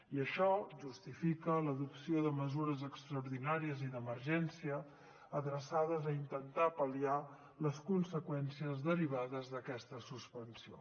i això justifica l’adopció de mesures extraordinàries i d’emergència adreçades a intentar pal·liar les conseqüències derivades d’aquesta suspensió